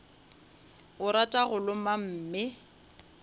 o rata go loma mme